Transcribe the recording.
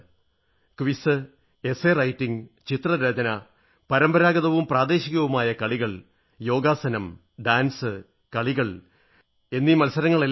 quiz ഉപന്യാസ രചന ചിത്രരചന പരമ്പരാഗതവും പ്രാദേശികവുമായ കളികൾ യോഗാസനം നൃത്തം കളികൾ മത്സരങ്ങളെല്ലാം പെടും